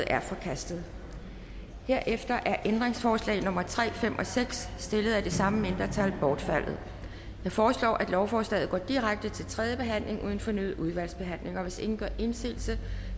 er forkastet herefter er ændringsforslag nummer tre fem og seks stillet af det samme mindretal bortfaldet jeg foreslår at lovforslaget går direkte til tredje behandling uden fornyet udvalgsbehandling hvis ingen gør indsigelse